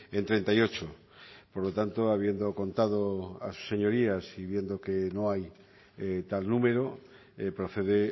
en treinta y ocho por lo tanto habiendo contado a sus señorías y viendo que no hay tal número procede